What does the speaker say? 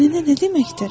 Ənənə nə deməkdir?